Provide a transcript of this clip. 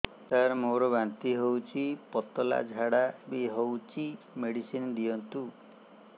ସାର ମୋର ବାନ୍ତି ହଉଚି ପତଲା ଝାଡା ବି ହଉଚି ମେଡିସିନ ଦିଅନ୍ତୁ